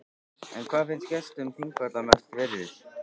En hvað finnst gestum þingvalla mest virðis?